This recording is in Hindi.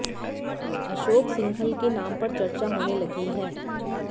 अशोक सिंघल के नाम पर चर्चा होने लगी है